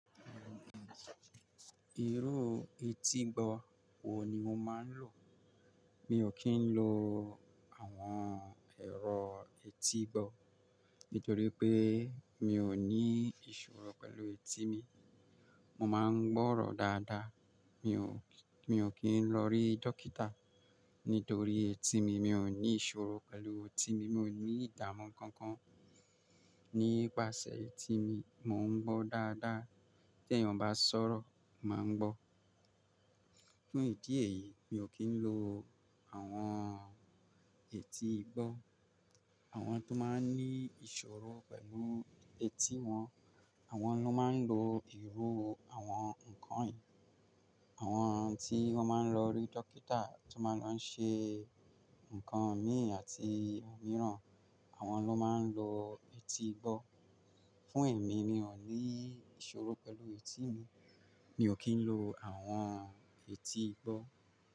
Ìru etígbọ́ wo ni o máa ń lò? Mi ò kí ń lo àwọn ẹ̀rọ etígbọ́, nítorí pé mi ò ní ìṣòro pẹ̀lú etí mi. Mo máa ń gbọ́rọ dáadáa. Mi ò, mi ò kí ń lọ rí dókítà, nítorí etí mi. Mi ò ní ìṣòro pẹ̀lú etí mi. Mi ò ní ìdààmú kankan nípasẹ̀ etí mi. Mo ń gbó dáadáa. Tẹ́ eeyan bá sọ̀rọ̀, mo maa n gbó. Fún ìdí èyí, mi ò kí ń lo àwọn etígbọ́. Àwọn tó máa ń ní ìṣòro pẹ̀lú etí wọn, àwọn ló máa ń lo ìró àwọn nǹkan yii Àwọn tí wọ́n máa ń lọ rí dókítà, tó máa lọ ṣe nǹkan míì àti òmíràn, àwọn ló máa ń lo etígbọ́. Fún èmi, mi ò ní ìṣòro pẹ̀lú etí mi. Mi ò kí ń lo àwọn etígbọ́.